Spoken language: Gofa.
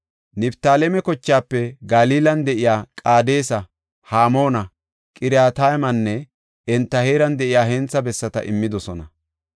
Niftaaleme kochaafe Galilan de7iya Qaadesa, Hamoona, Qirataymanne enta heeran de7iya hentha bessata immidosona.